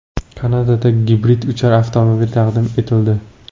Kanadada gibrid uchar avtomobil taqdim etildi .